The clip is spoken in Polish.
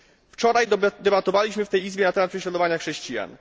Wczoraj debatowaliśmy w tej Izbie na temat prześladowania chrześcijan.